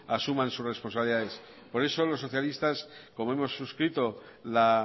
asuman sus responsabilidades por eso los socialistas como hemos suscrito la